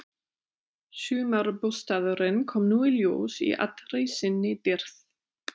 Sumarbústaðurinn kom nú í ljós í allri sinni dýrð.